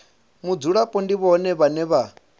mudzulapo ndi vhone vhane vha